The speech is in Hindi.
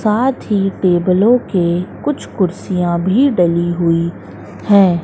साथ ही टेबलों के कुछ कुर्सियां भी डली हुई हैं।